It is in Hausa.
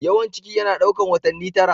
Yawan ciki yana ɗaukar watanni tara.